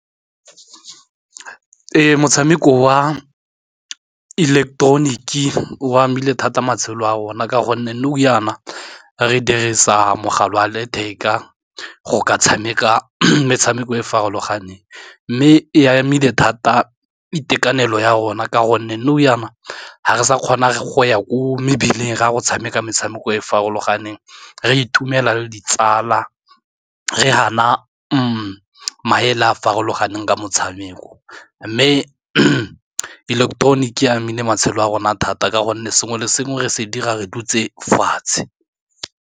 Ee, motshameko wa ileketeroniki o amile thata matshelo a rona ka gonne nou jaana re dirisa mogala wa letheka go ka tshameka metshameko e e farologaneng, mme e amile thata itekanelo ya rona ka gonne nou jaana ga re sa kgona go ya ko mebileng re a go tshameka metshameko e e farologaneng re itumela le ditsala re ha na maele a farologaneng ka motshameko, mme ileketoroniki amile matshelo a rona thata ka gonne sengwe le sengwe re se dira re dutse fatshe.